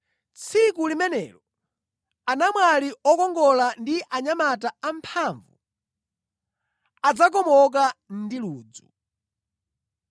“Tsiku limenelo “anamwali okongola ndi anyamata amphamvu adzakomoka ndi ludzu.